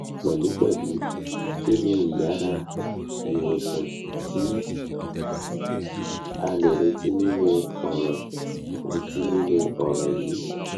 pẹlupẹlu kini iyara iwosanti a le reti ninu ọran reti ninu ọran yii